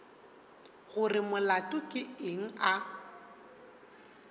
gore molato ke eng a